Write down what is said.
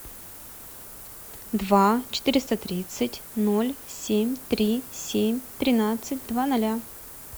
два четыреста тридцать ноль семь три семь тринадцать два ноля